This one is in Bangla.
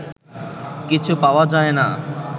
কিছু পাওয়া যায় না